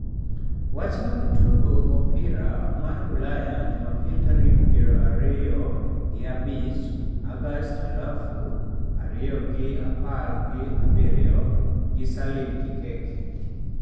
Wach mag Tugo Opira mar Ulaya Jumapil tarik prariyogi abich August alafu ariyogi apar gi abirio gi Salim Kikeke